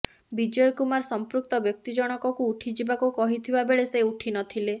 ବିଜୟ କୁମାର ସମ୍ପୃକ୍ତ ବ୍ୟକ୍ତି ଜଣକକୁ ଉଠିଯିବାକୁ କହିଥିବା ବେଳେ ସେ ଉଠି ନ ଥିଲେ